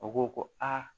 U ko ko aa